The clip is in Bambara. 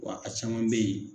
Wa a caman bɛ ye